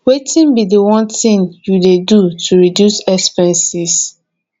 wetin be di one thing you dey do to reduce expenses